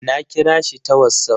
Na kira shi ta wassaf